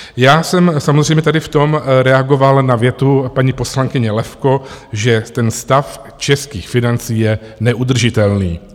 Já jsem samozřejmě tady v tom reagoval na větu paní poslankyně Levko, že ten stav českých financí je neudržitelný.